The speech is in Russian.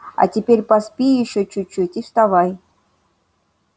а теперь поспи ещё чуть чуть и вставай